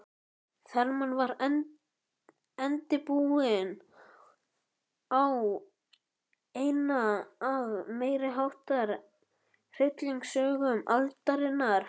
Þarmeð var endi bundinn á eina af meiriháttar hryllingssögum aldarinnar.